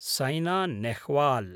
सैना Nehwal